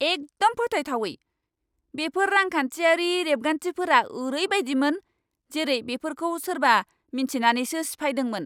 एकदम फोथायथावै! बेफोर रांखान्थियारि रेबगान्थिफोरा ओरैबायदिमोन, जेरै बेफोरखौ सोरबा मिन्थिनानैसो सिफायदोंमोन!